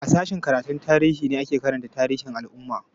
A sashen karatun tarihi ne ake karanta tarihin al'ummu da yawa